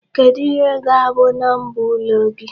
Kedụ ihe ga-abụ number ụlọ gị?